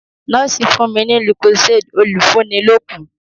Nọ́ọ̀sì fún mi ní lucozade olùfúnilókun.